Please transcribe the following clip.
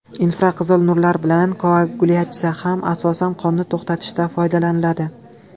Infraqizil nurlar bilan koagulyatsiya ham asosan qonni to‘xtatishda foydalaniladi.